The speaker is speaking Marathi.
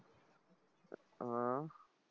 हा?